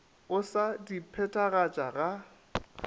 o sa di phethagatše ga